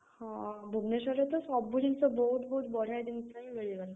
ହଁ, ଭୁବନେଶ୍ୱରରେ ତ ସବୁ ଜିନିଷ ବହୁତ୍ ବହୁତ୍ ବଢିଆ ଜିନିଷ ହିଁ